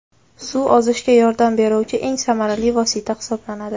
Suv ozishga yordam beruvchi eng samarali vosita hisoblanadi.